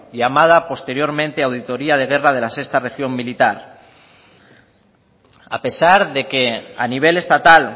llamada posteriormente auditoría de guerra de las sexto región militar a pesar de que a nivel estatal